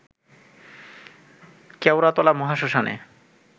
Keoratala মহাশ্মশানে